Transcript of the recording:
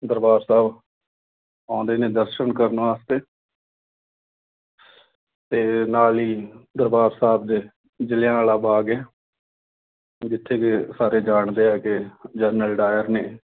ਦਰਬਾਰ ਸਾਹਿਬ ਆਉਂਦੇ ਨੇ। ਦਰਸ਼ਨ ਕਰਨ ਵਾਸਤੇ। ਤੇ ਨਾਲ ਹੀ ਦਰਬਾਰ ਸਾਹਿਬ ਦੇ ਜ਼ਿਲ੍ਹਿਆਂਵਾਲਾ ਬਾਗ ਆ। ਜਿੱਥੇ ਕਿ ਸਾਰੇ ਜਾਣਦੇ ਆ ਕਿ General Dyer ਨੇ